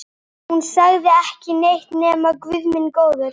Hún sagði ekki neitt nema bara Guð minn góður.